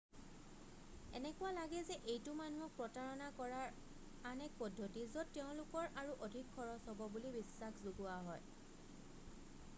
এনেকুৱা লাগে যে এইটো মানুহক প্ৰতাৰণা কৰাৰ আন এক পদ্ধতি য'ত তেওঁলোকৰ আৰু অধিক খৰছ হব বুলি বিশ্বাস যোগোৱা হয়